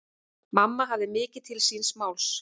Mamma hafði mikið til síns máls.